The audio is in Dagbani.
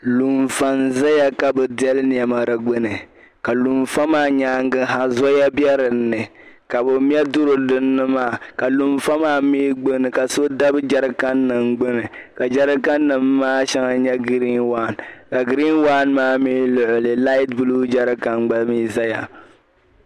Lunfa n-zaya ka bɛ deli nɛma si gbuni ka lunfa maa nyaaŋa ha zoya be dini ka bɛ me duri dini maa lunfa maa mi gbuni ka so dabi jɛrikaninima gbuni ka jɛrikaninima maa shɛŋa nyɛ giriin waan ka giriin waan maa mi luɣili laati buluu jɛrikani gba mi ʒiya.